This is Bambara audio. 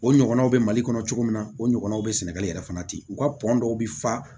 O ɲɔgɔnnaw bɛ mali kɔnɔ cogo min na o ɲɔgɔnnaw bɛ sɛnɛgali yɛrɛ fana di u ka dɔw bɛ fa